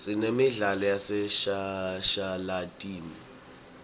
sinemidlalo yaseshashalatini